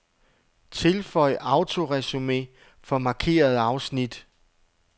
Tilføj autoresumé for markerede afsnit.